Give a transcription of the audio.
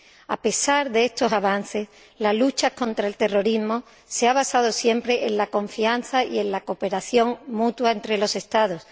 A pesar de estos avances, la lucha contra el terrorismo se ha basado siempre en la confianza y en la cooperación mutua entre los Estados.